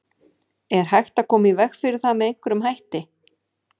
Er hægt að koma í veg fyrir það með einhverjum hætti?